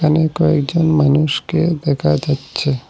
এখানে কয়েকজন মানুষকে দেখা যাচ্ছে।